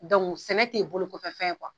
sɛnɛ tɛ bolokokɔfɛn ye .